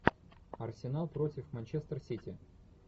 арсенал против манчестер сити